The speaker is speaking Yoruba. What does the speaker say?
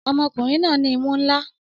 Ọmọkùnrin náà ní imú ńlá